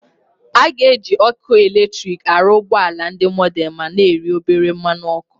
A ga-eji ọkụ eletrik arụ ụgbọ ala ndị mordern ma na-eri obere mmanụ ọkụ.